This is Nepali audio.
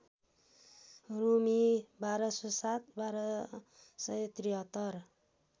रूमी १२०७ १२७३